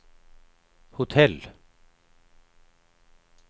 hotell